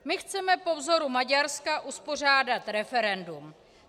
My chceme po vzoru Maďarska uspořádat referendum.